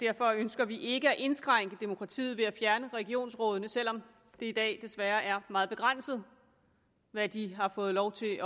derfor ønsker vi ikke at indskrænke demokratiet ved at fjerne regionsrådene selv om det i dag desværre er meget begrænset hvad de har fået lov til